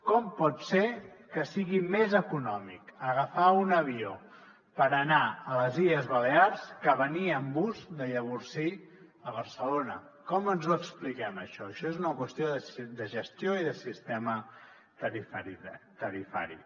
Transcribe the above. com pot ser que sigui més econòmic agafar un avió per anar a les illes balears que venir amb bus de llavorsí a barcelona com ens ho expliquem això això és una qüestió de gestió i de sistema tarifari